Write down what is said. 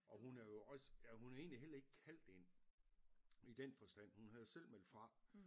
Og hun er jo også ja hun er egentlig heller ikke kaldt ind i den forstand hun havde jo selv meldt fra